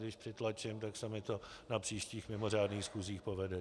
Když přitlačím, tak se mi to na příštích mimořádných schůzích povede.